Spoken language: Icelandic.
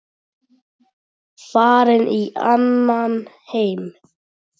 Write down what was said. Farin í annan heim.